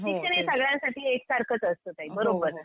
शिक्षण हे सगळ्यांसाठी एक सारखंच असतं ताई बरोबर.